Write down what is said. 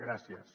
gràcies